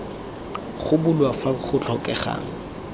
go bulwa fa go tlhokegang